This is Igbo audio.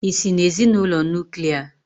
Ị́si n'ezinụlọ Nuklià?